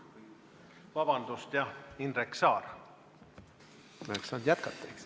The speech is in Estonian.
Vabandust, jah, Indrek Saar!